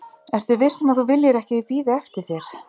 ertu viss um að þú viljir ekki að ég bíði eftir þér?